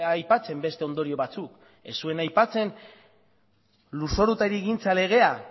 aipatzen beste ondorio batzuk ez zuen aipatzen lurzoru eta hirigintza legea